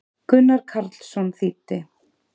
Gunnar Karlsson þýddi.